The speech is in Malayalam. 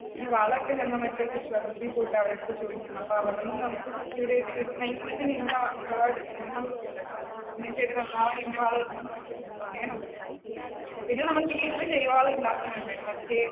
എടി വളം ഒക്കെ ഞങ്ങൾ മറ്റേ കൃഷി വകുപ്പിൽ പോയിട്ട് അവരുടെ അടുത്ത് ചോദിക്കും അപ്പ അവിടുന്ന് നമുക്ക് വളം ഇടണം എന്നൊക്കെ ഉണ്ടല്ലോ. പിന്നെ ചെടി നന്നാവാൻ ഇന്ന് വളം ഇടണം എന്നൊക്കെ ഉണ്ടല്ലോ. അങ്ങനെ ഉണ്ടല്ലോ. പിന്നെ നമ്മുടെ വീട്ടിലെ ജൈവവളം ഉണ്ടാക്കുന്നുണ്ട് മറ്റേ